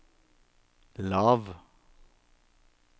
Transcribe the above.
lav